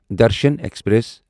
Darshan express